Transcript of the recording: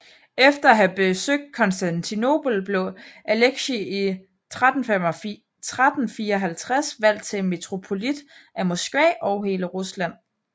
Efter at have besøgt Konstantinopel blev Aleksij i 1354 valgt til Metropolit af Moskva og hele Rusland